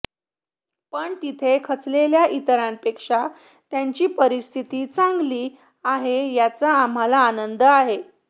पण तिथे खचलेल्या इतरांपेक्षा त्यांची परिस्थिती चांगली आहे याचा आम्हाला आनंद आहे